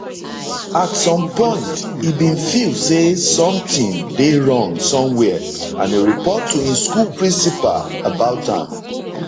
at some point e bin feel say somtin dey wrong somwia and e report to im school principal about am